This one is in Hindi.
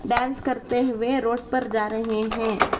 डांस करते हुए रोड पर जा रहे हैं।